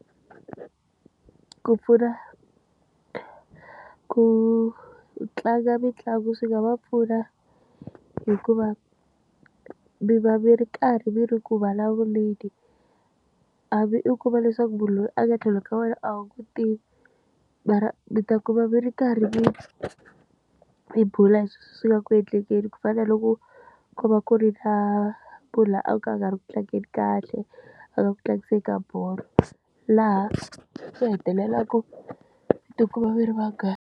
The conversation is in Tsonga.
Ku pfuna ku tlanga mitlangu swi nga va pfuna hikuva mi va mi ri karhi mi ri ku vulavuleni a va i ku va leswaku munhu loyi a nga tlhelo ka wena a wu n'wi tivi mara mi ta kuma mi ri karhi mi mi bula hi leswi swi nga ku endlekeni ku fana na loko ku va ku ri na mhunu a ka a nga ri ku tlangeni kahle a ka ku tlangiseni ka bolo laha swi hetelelaka mi tikuma mi ri vanghana.